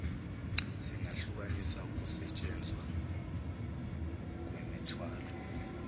singahlukanisa ukusentshenzwa kwemithwalo